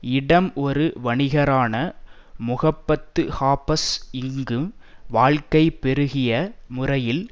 இடம் ஒரு வணிகரான முகப்பத் ஷாபாஸ் இங்கு வாழ்க்கை பெருகிய முறையில்